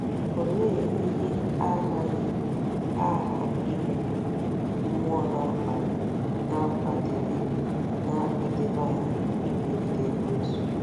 Olee ihe agha ime um mmụọ na-akwadebe na-akwadebe anyị imegide Ekwensu?